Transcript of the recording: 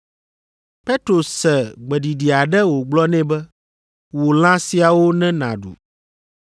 Petro se gbeɖiɖi aɖe wògblɔ nɛ be, “Wu lã siawo ne nàɖu.”